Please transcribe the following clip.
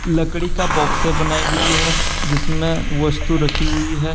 लकड़ी का बॉक्स बनाई गई है जिसमें वस्तु रखी हुई है।